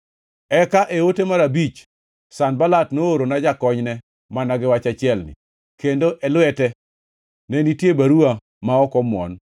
Eka, e ote mar abich, Sanbalat noorona jakonyne mana gi wach achielni, kendo e lwete ne nitie baruwa ma ok omuon